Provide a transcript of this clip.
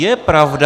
Je pravda -